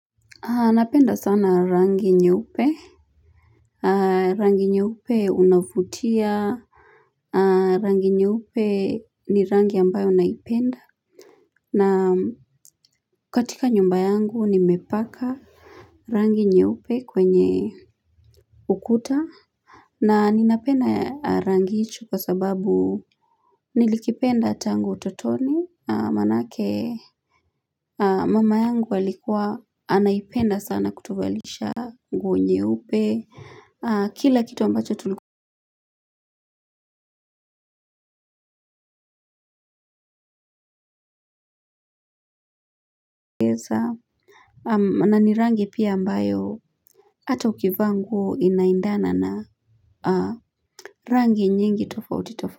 Napenda sana rangi nyeupe. Rangi nyeupe unavutia. Rangi nyeupe ni rangi ambayo naipenda. Na katika nyumba yangu nimepaka rangi nye upe kwenye ukuta. Na ninapenda rangi hicho kwa sababu nilikipenda tangu ututoni manake mama yangu alikua anaipenda sana kutuvalisha nguo nyeupe kila kitu ambacho ukiweza na ni rangi pia ambayo hata ukivaa nguo inaendana na rangi nyingi tofauti tofauti.